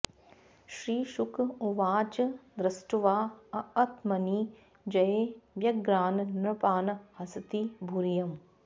श्रीशुक उवाच दृष्ट्वाऽऽत्मनि जये व्यग्रान् नृपान् हसति भूरियम्